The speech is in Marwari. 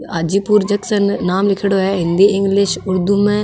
आजी पूर जक्शंन नाम लीखेडॉ है हिंदी इंग्लिश उर्दू म।